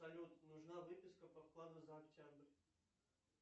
салют нужна выписка по вкладу за октябрь